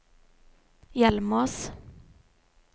Hjelmås